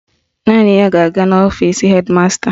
Naanị ya ga-aga n'ọfisi hedi masta